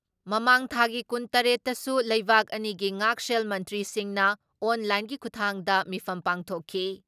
ꯃꯃꯥꯡ ꯊꯥꯒꯤ ꯀꯨꯟ ꯇꯔꯦꯠ ꯇꯁꯨ ꯂꯩꯕꯥꯛ ꯑꯅꯤꯒꯤ ꯉꯥꯛꯁꯦꯜ ꯃꯟꯇ꯭ꯔꯤꯁꯤꯡꯅ ꯑꯣꯟ ꯂꯥꯏꯟꯒꯤ ꯈꯨꯊꯥꯡꯗ ꯃꯤꯐꯝ ꯄꯥꯡꯊꯣꯛꯈꯤ ꯫